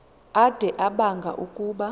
ade abanga ukuba